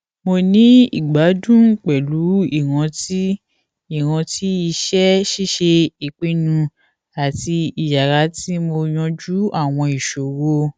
mo ni igbadun pẹlu iranti iranti iṣẹ ṣiṣe ipinnu ati iyara ti mo yanju awọn iṣoro